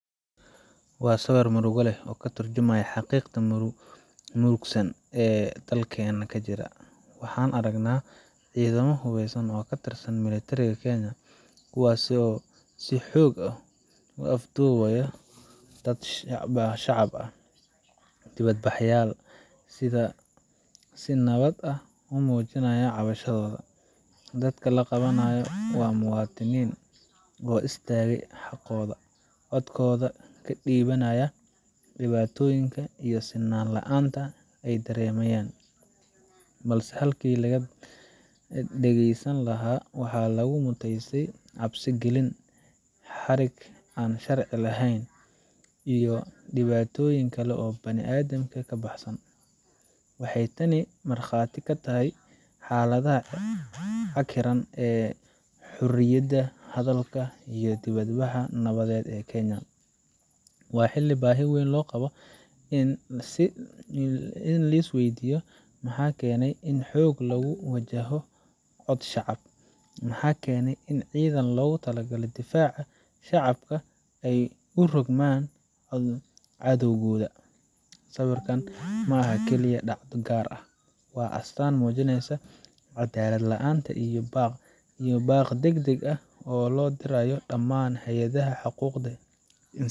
Wa siwir murug lah oo ka turjimyoh xaqiqtad murugsan oo dalkayna ka jira, waxaan argna cidada xubasan oo ka tirsan mintirika kenaya, kuwas oo sii xog ah u afdiwayo dad shacab ah, diwad bahalay side nawad ah umujinya cawashadoda, dadka la qawanayo wa muwadinin oo istaga xaqoda codkoda ka diwanaya, diwatoyinka iyo si nan laanta ay daramayan, blse hadlkan halki laga dagsani lahay wax lagu mutasta cabsi galin, xarik an sharci lahan, iyo diwatoyinka okle bila adanka ka baxsan, waxaay taani marqati ka tahay xaladaha cagiran aa horiyada hadlka iyo diwad bax nawad aa kenya, wa xalika bahi wan loqawo an si liswaydoyoh maxa kani in xog lagu lagu wajaho cod shacab maxa kani in cidan lagu talagala difaca shacabka u rogman cadowkoda siwirkan maxa kali ah dacda gar ah wa astan mujinaysoh cadal laanta iyo baq dag dag ah oo lo dirayo daman hayada xaquqa isan.